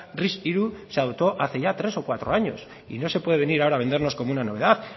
ris tres se adoptó hace ya tres o cuatro años y no se puede venir ahora a vendernos como una novedad